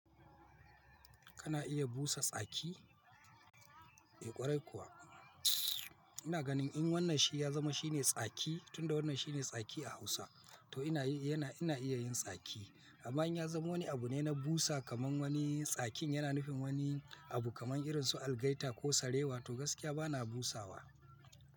Kana iya busa tsaki? Eh ƙwarai kuwa. Ina ganin in wannan shi ya zama shine tsaki, tunda wannan shi ne tsaki a Hausa, to ina iya yin tsaki. Amma in ya zama wani abu ne na busa kamar wani tsakin yana nufin wani abu kamar irin su algaita ko sare wa to gaskiya bana busawa.